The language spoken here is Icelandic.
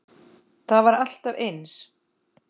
Það var alltaf eins.